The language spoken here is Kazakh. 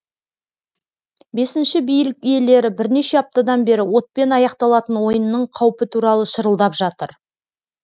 бесінші билік иелері бірнеше аптадан бері отпен аяқталатын ойынның қаупі туралы шырылдап жатыр